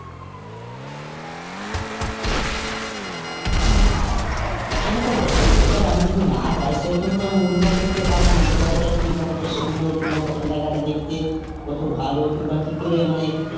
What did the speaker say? হ্যাঁ সেটা তো বটেই এবার আমি যদি না যাই সেখানে তো আমি অনুভব করতে পারবোনা যে কতটা কি, কতটা সুন্দর কিংবা কতটা জায়গাটা দেখতে, কত ভালো কিংবা কি করে মানে.